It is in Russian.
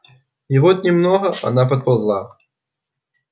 и вот немного она подползла